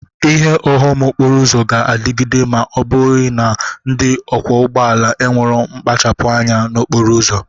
Ihe ụghọm okporo ụzọ ga-adịghịde ma ọ bụghị na ndị ọkwọ ụgbọ ala nwere mpachapụ anya n'okporo ụzọ.